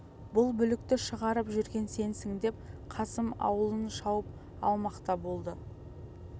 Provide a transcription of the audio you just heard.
бұл бүлікті шығарып жүрген сенсің деп қасым аулын шауып алмақ та болды